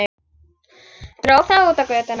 Dró það út á götuna.